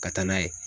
Ka taa n'a ye